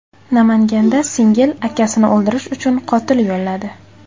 Namanganda singil akasini o‘ldirish uchun qotil yolladi.